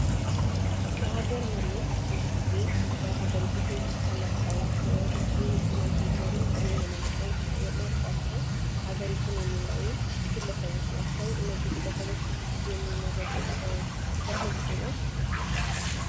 የአገር መሪዎች ብዙ ጊዜ በሀገሪቱ ሰዎች ተመርጠው ህዝቡ እናንተ ብትመሩን ጥሩ ይሆናል ብለው መርጦአቸው ሀገር የሚመሩ ግለሰቦች ናቸው። እነዚህ ግለሰቦች ብዙ ጊዜ የሚመረጡት በህዝቡ ነው።